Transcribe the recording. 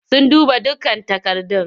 Sun duba dukkan takardun.